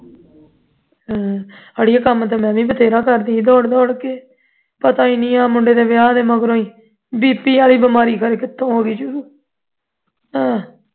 ਹੂ ਅੜੀਏ ਕੰਮ ਤੇ ਮੈਂ ਵੀ ਬਥੇਰਾ ਕਰਦੀ ਹਾਂ ਦੌੜ ਦੌੜ ਕੇ ਪਤਾ ਹੀ ਨਹੀਂ ਆਹ ਮੁੰਡੇ ਦੇ ਵਿਆਹ ਦੇ ਮਗਰੋਂ ਹੀ BP ਵਾਲੀ ਬਿਮਾਰੀ ਕਿੱਥੋਂ ਹੋ ਗਈ ਸ਼ੁਰੂ ਅਹ